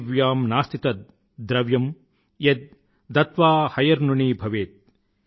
పృథివ్యాం నాస్తి తద్ ద్రవ్యం యద్ దత్వా హయనృణీ భవేత్